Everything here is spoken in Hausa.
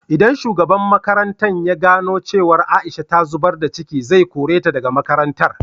Idan shugaban makarantan ya gano cewa Aisha ta zubar da ciki, zai kore ta da ga makarantar.